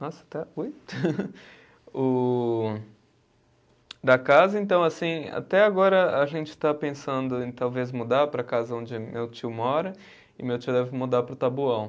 Nossa, até. O, da casa, então, assim, até agora a gente está pensando em talvez mudar para a casa onde meu tio mora e meu tio deve mudar para o Taboão.